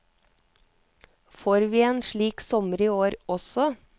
Får vi en slik sommer i år også?